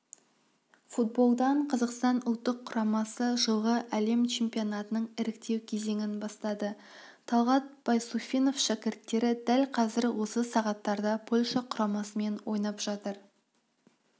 футболдан қазақстан ұлттық құрамасы жылғы әлем чемпионатының іріктеу кезеңін бастады талғат байсуфинов шәкірттері дәл қазір осы сағаттарда польша құрамасымен ойнап жатыр